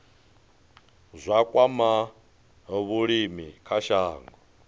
zwa kwama vhulimi kha shango